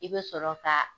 I bɛ sɔrɔ ka